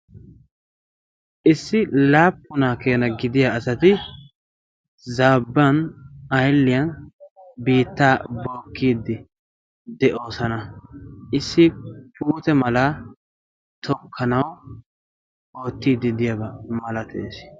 issi laappunaa keena gidiya asati zaabban aylliyan biitta bokiiddi de'oosana. issi puute mala tokkanawu oottiiddi diyaabaa malatees.